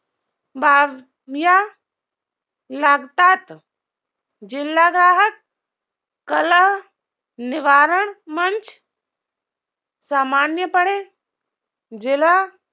लागतात जिला ग्राहक कला निवारण मंच सामान्यपणे जिला